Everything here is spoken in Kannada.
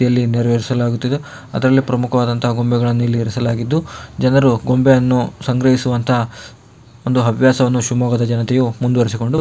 ಇಲ್ಲಿ ನೆರೆವೇರಿಸಲಾಗುತ್ತಿದೆ ಅದರಲ್ಲಿ ಪ್ರಮುಖವಾದ ಗೊಂಬೆಗಳನ್ನು ಇಲ್ಲಿ ಇರಿಸಲಾಗಿದ್ದು ಜನರು ಗೊಂಬೆಯನ್ನು ಸಂಗ್ರಹಿಸುವಂತಹ ಒಂದು ಹವ್ಯಾಸವನ್ನು ಶಿವಮೊಗ್ಗದ ಜನತೆಯು ಮುಂದುವರಿಸಿಕೊಂಡು--